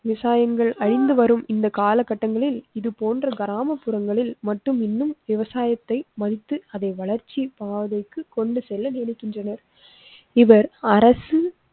விவசாயங்கள் அழிந்து வரும் இந்த கால கட்டங்களில் இது போன்ற கிராமப்புறங்களில் மட்டும் இன்னும் விவசாயத்தை மதித்து அதை வளர்ச்சி பாதைக்கு கொண்டு செல்ல நினைக்கின்றனர். இவர் அரசு